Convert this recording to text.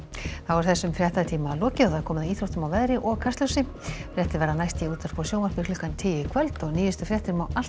þessum fréttatíma er lokið og komið að íþróttum veðri og Kastljósi fréttir verða næst í útvarpi og sjónvarpi klukkan tíu í kvöld og nýjustu fréttir má alltaf